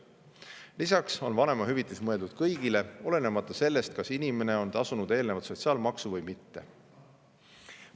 Lisaks on vanemahüvitis mõeldud kõigile, olenemata sellest, kas inimene on eelnevalt sotsiaalmaksu tasunud või mitte.